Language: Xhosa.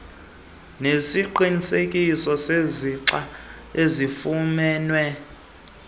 nesiqinisekiso sesixa osifumene